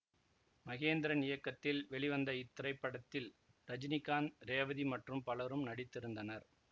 மகேந்திரன் இயக்கத்தில் வெளிவந்த இத்திரைப்படத்தில் ரஜினிகாந்த் ரேவதி மற்றும் பலரும் நடித்திருந்தனர்